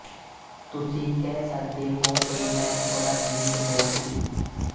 ਤੁਸੀਂ ਕਹਿ ਸਕਦੇ ਹੋ ਕਿ ਮੈਂ ਥੋੜਾ ਜਿਹੀ ਕਠੋਰ ਸੀ